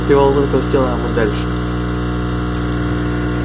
привал только сделаем и дальше